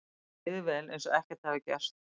Mér líður vel, eins og ekkert hafi gerst.